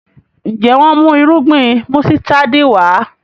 njé wón mú Irúgbìn músítádì Wá?